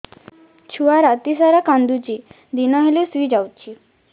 ଛୁଆ ରାତି ସାରା କାନ୍ଦୁଚି ଦିନ ହେଲେ ଶୁଇଯାଉଛି